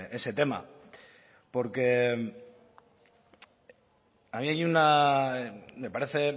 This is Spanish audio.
ese tema porque a mí me parece